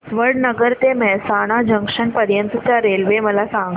वडनगर ते मेहसाणा जंक्शन पर्यंत च्या रेल्वे मला सांगा